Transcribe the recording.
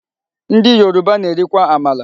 Ndị Yoruba na-erikwa amala.